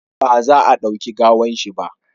ba za a dauki gawan shi ba!